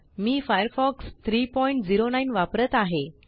मी Firefox 309 वापरत आहे